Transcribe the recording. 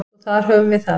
Svo þar höfum við það.